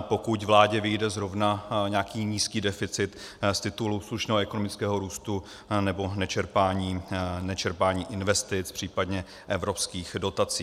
pokud vládě vyjde zrovna nějaký nízký deficit z titulu slušného ekonomického růstu nebo nečerpání investic, případně evropských dotací.